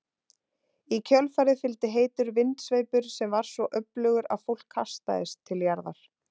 Í kjölfarið fylgdi heitur vindsveipur sem var svo öflugur að fólk kastaðist til jarðar.